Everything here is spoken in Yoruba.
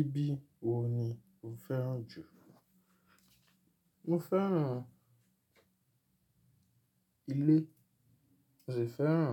Ibi wo ni o fẹ́ràn jù? Mo fẹ́ràn ilé, mo sì fẹ́ràn